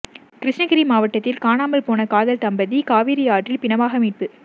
கிருஷ்ணகிரி மாவட்டத்தில் காணாமல் போன காதல் தம்பதி காவிரி ஆற்றில் பிணமாக மீட்பு